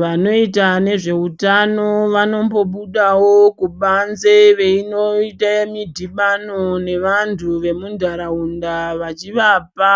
Vanoita nezveutano vanombobudawo kubanze veinoita mudhibano nevantu vemunharaunda vachivapa